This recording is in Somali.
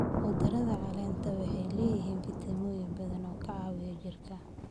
Khudradda caleenta waxay leeyihiin fiitamiinno badan oo ka caawiya jirka.